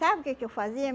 Sabe o que que eu fazia?